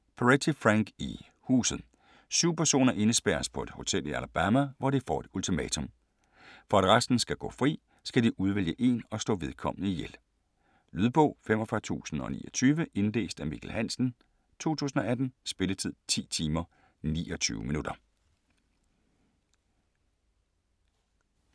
Peretti, Frank E.: Huset Syv personer indespærres på et hotel i Alabama, hvor de får et ultimatum: For at resten skal gå fri, skal de udvælge en og slå vedkommende ihjel. Lydbog 45029 Indlæst af Mikkel Hansen, 2018. Spilletid: 10 timer, 29 minutter.